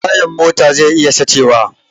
Tayan mota zai iya sace wa